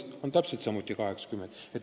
See hakkab täpselt samuti olema 80 eurot.